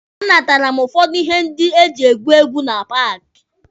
A natara m ụfọdụ ihe ndị eji egwu egwu na paaki.